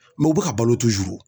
u bɛ ka balo